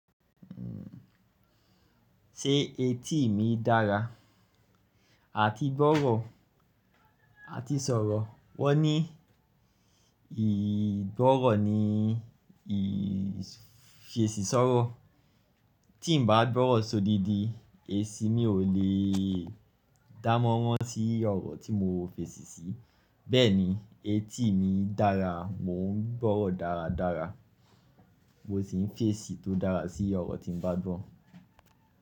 Hmm, ṣé etí mi dára àti gbọ́rọ̀ àti sọ̀rọ̀? Wọ́n ní ìgbọ́rọ̀ ni ì fèsì sọ́rọ̀. Tí n bá gbọ́rọ̀ sódidi, èsì mi ò lè dánnmoran si ọ̀rọ̀ tí mo fèsì sí. Bẹ́ẹ̀ ni, etí mi dára, mò ń gbọ́rọ̀ dáradára, mo sì ń fèsì tó dára sí ọ̀rọ̀ tí n bá gbọ́.